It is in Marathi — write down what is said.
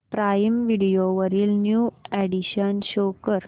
प्राईम व्हिडिओ वरील न्यू अॅडीशन्स शो कर